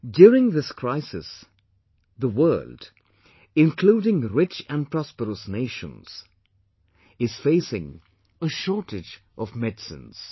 During this crisis, the world including rich and prosperous nations is facing a shortage of medicines